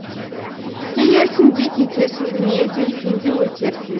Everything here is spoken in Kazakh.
келерсің де кетерсің дүние де сен де өтерсің